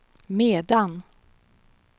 medan